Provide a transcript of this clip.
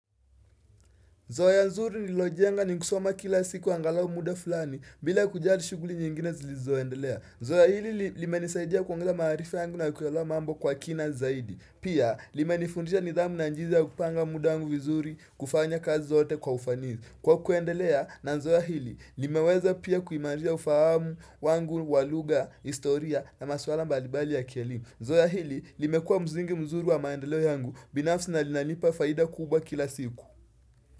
Zoe nzuri nililojenga ni kusoma kila siku angalau muda fulani bila kujali shughuli nyingine zilizoendelea zoea hili limenisaidia kuongeza maarifa yangu na kuelewa mambo kwa kina zaidi pia limenifundisha nidhamu na jinsi ya kupanga muda wangu vizuri kufanya kazi zote kwa ufanizi Kwa kuendelea na zoea hili limeweza pia kuimarisha ufahamu wangu wa lugha ya historia na maswala mbali mbali ya kielimu zoea hili limekuwa mzingi mzuri wa maendeleo yangu binafsi na linanipa faida kubwa kila siku.